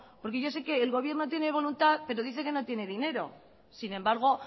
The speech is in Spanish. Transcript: porque yo sé que el gobierno tiene voluntad pero dice que no tiene dinero sin embargo